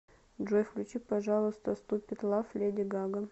джой включи пожалуйста ступид лав леди гага